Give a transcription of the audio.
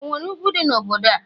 onwere ugwu di n'obodo a?